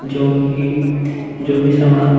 जोकि जो भी सामान --